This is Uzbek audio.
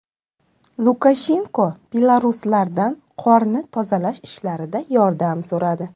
Lukashenko beloruslardan qorni tozalash ishlarida yordam so‘radi.